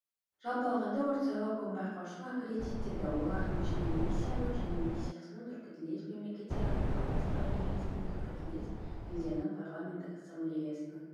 жалпы алғанда ортсайлауком байқаушыны аккредиттеді олардың ішінде миссиясының және миссиясының түркітілдес мемлекеттер ынтымақтастығы кеңесінің түркітілдес елдердің парламенттік ассамблеясының